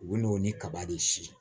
U bɛ n'o ni kaba de siɲɛ